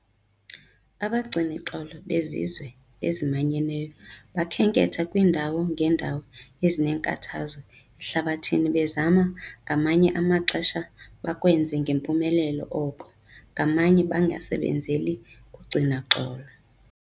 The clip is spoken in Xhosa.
Abagcini xolo beZizwe eziManyeneyo bakhenketha kwiindawo ngeendawo ezineenkathazo ehlabathini bezama - ngamanye amaxesha bakwenze ngempumelelo oko, ngamanye a bangasebenzeli kugcina xolo.